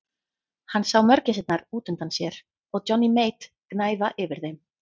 Hann sá mörgæsirnar út undan sér og Johnny Mate gnæfa yfir þeim.